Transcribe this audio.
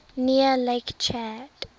near lake chad